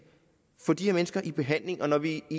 få de her mennesker i behandling og når vi i